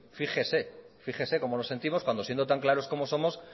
fíjese fíjese cómo nos sentimos cuando siendo tan claros como somos